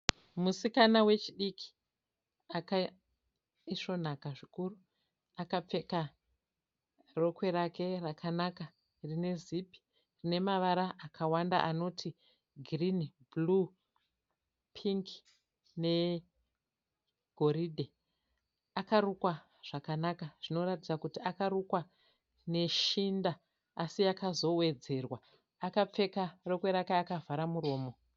Musikana wechidiki akaisvonaka zvikuru, akapfeka rokwe rake rakanaka rine zipi, rine mavara akawanda anoti girini, bhuruu, pingi negoridhe. Akarukwa zvakanaka zvinoratidza kuti akarukwa neshinda asi yakazowedzerwa. Akapfeka rokwe rake akavhara muromo.